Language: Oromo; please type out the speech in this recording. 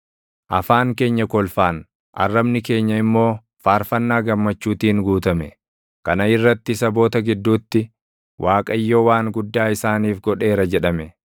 Afaan keenya kolfaan, arrabni keenya immoo faarfannaa gammachuutiin guutame. Kana irratti saboota gidduutti, “ Waaqayyo waan guddaa isaaniif godheera” jedhame.